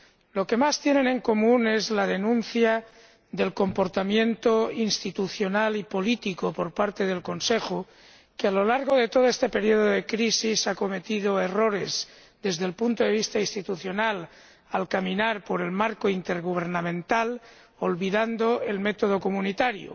Lo que más tienen en común es la denuncia del comportamiento institucional y político por parte del Consejo, que, a lo largo de todo este periodo de crisis, ha cometido errores desde el punto de vista institucional al caminar por el marco intergubernamental olvidando el método comunitario.